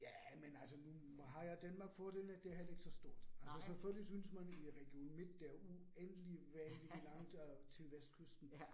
Ja, men altså nu har jo Danmark fordel, at det heller ikke så stort. Altså selvfølgelig synes man i Region Midt, der uendelig vanvittig langt øh til vestkysten